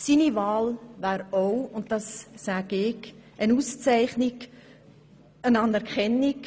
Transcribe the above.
Aus meiner persönlichen Sicht wäre seine Wahl auch eine Auszeichnung und Anerkennung